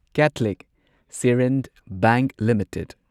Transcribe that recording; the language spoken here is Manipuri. Catholic Syrian Bank limited